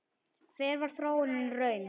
Hver varð þróunin í raun?